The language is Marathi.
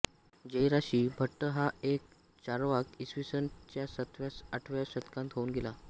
जयराशी भट्ट हा एक चार्वाक इ स च्या सातव्याआठव्या शतकांत होऊन गेला